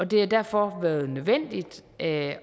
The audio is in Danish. det har derfor været nødvendigt at